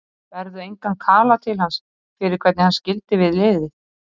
Berðu engan kala til hans fyrir hvernig hann skildi við liðið?